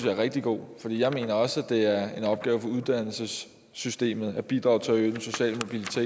er rigtig god for jeg mener også at det er en opgave for uddannelsessystemet at bidrage til at øge den sociale